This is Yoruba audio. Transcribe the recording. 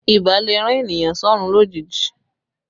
Ibà lè rán ènìyàn sọ́rún lójijì